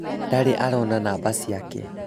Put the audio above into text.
ndarĩ arona namba ciake